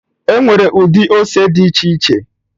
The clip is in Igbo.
Enwere ụdị ose dị iche iche